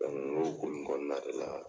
u y'o ko ninnu daminɛ ale la.